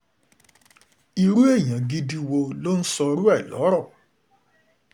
ó rọ àwọn aráàlú láti fi ẹ̀tọ́ sí ìrìnàjò wọn bí wọ́n ṣe ń jáde lọ sẹ́nu iṣẹ́ wọn